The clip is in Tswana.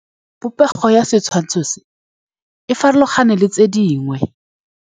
Popêgo ya setshwantshô se, e farologane le tse dingwe.